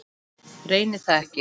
Reyni það ekki.